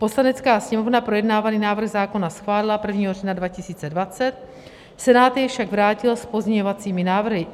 Poslanecká sněmovna projednávaný návrh zákona schválila 1. října 2020, Senát jej však vrátil s pozměňovacími návrhy.